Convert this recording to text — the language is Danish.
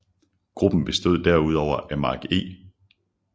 Gruppen bestod derudover af Mark E